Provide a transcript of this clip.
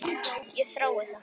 Ég þrái það.